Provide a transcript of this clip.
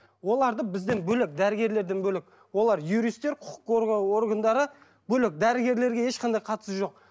оларды бізден бөлек дәрігерлерден бөлек олар юристер құқық қорғау органдары бөлек дәрігерлерге ешқандай қатысы жоқ